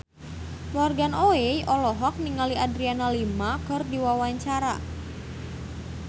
Morgan Oey olohok ningali Adriana Lima keur diwawancara